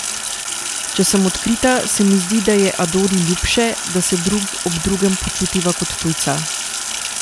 Če sem odkrita, se mi zdi, da je Adori ljubše, da se drug ob drugem počutiva kot tujca.